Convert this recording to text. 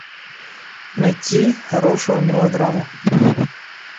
найти хорошую мелодраму